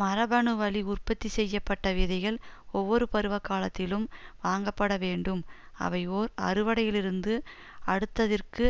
மரபணுவழி உற்பத்தி செய்ய பட்ட விதைகள் ஒவ்வொரு பருவகாலத்திலும் வாங்கப்படவேண்டும் அவை ஓர் அறுவடையிலிருந்து அடுத்ததிற்கு